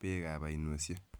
beek ab oinoshek.